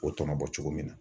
O tɔnɔ bɔ cogo min na.